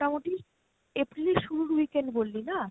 মোটামোটি April এর শুরুর weekend বললি না?